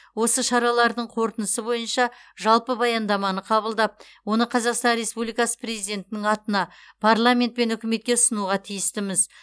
осы шаралардың қорытындысы бойынша жалпы баяндаманы қабылдап оны қазақстан республикасы президентінің атына парламент пен үкіметке ұсынуға тиістіміз